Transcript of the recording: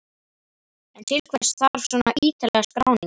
En til hvers þarf svona ítarlega skráningu?